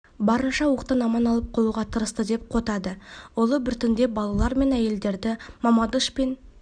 барынша оқтан аман алып қалуға тырысты деп қотады ұлы біртіндеп балалар мен әйелдерді мамадыш пен